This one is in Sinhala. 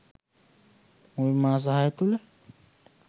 මුල් මාස 6 තුළ